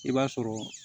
I b'a sɔrɔ